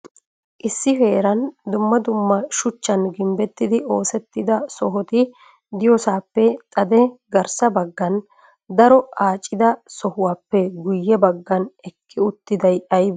Issi heeran dumma dumma shuchchan gimbbetidi oosetti sohiti diyoosappe xade farssa baggan daro accida sohuwappe guyye bagga eqqi uttiday aybbe?